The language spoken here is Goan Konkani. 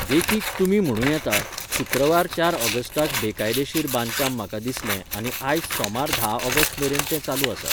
देखीक, तुमी म्हणूं येता, 'शुक्रवार चार ऑगस्टाक बेकायदेशीर बांदकाम म्हाका दिसलें आनी आयज सोमार धा ऑगस्ट मेरेन तें चालू आसा.